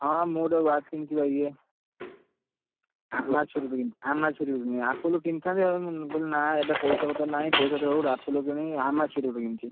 ହଁ ହଁ, ମୁଁ ଗୋଟେ watch କିଣିଛି ବା ଇଏ, Amazon, Amazon ରୁ କିଣିଛି Apple କିଣି ଥାନ୍ତି ମୁଁ କହିଲି ନା ଏବେ ପଇସା ପତର ନାହି ପଇସା ପତ୍ର ହଉ Apple କିଣିବି ଏବେ Amazon କିଣିଛି।